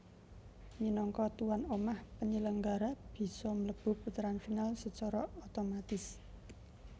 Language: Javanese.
Minangka tuan omah penyelenggara bisa mlebu puteran final sacara otomatis